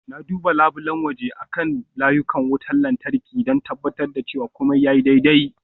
Na duba labulen waje akan layukan wutar lantarki, don tabbatar da cewa komai ya yi kyau.